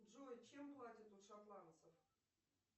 джой чем платят у шотландцев